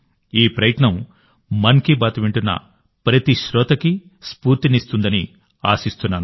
ఈ ప్రయత్నం మన్ కీ బాత్ వింటున్న ప్రతి శ్రోతకి స్ఫూర్తినిస్తుందని ఆశిస్తున్నాను